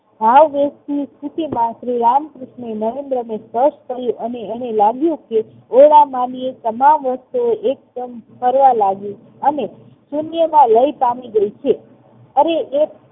સ્થિતિમાં શ્રી રામકૃષ્ણએ નરેન્દ્રને કરી અને લાગ્યું કે ભોળા માનવી તમામ વસ્તુ એકદમ ફરવા લાગી અને શૂન્યમાં લય પામી ગયી છે. અરે એ